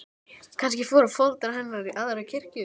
Kannski fóru foreldrar hennar í aðra kirkju.